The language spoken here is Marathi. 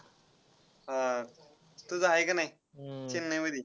हा. तुझा आहे का नाही चेन्नईमध्ये?